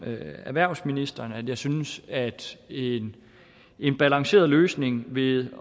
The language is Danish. med erhvervsministeren synes jeg at en en balanceret løsning ville